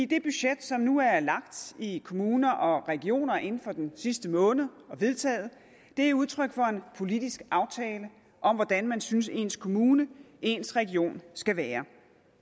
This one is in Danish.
det budget som nu er lagt i kommuner og regioner inden for den sidste måned og vedtaget er udtryk for en politisk aftale om hvordan man synes ens kommune ens region skal være